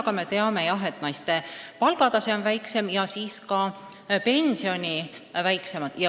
Aga me teame, et naiste palgatase on madalam ja siis on ka nende pensionid väiksemad.